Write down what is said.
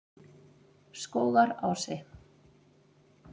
Skógarási